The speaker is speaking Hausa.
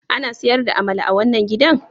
Ana sayar da amala a wannan gidan?